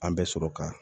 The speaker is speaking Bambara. An bɛ sɔrɔ ka